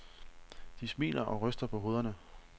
De smiler og ryster på hovederne.